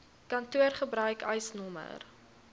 kantoor gebruik eisnr